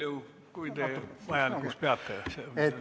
Nii palju, kui te selle vastuse jaoks vajalikuks peate.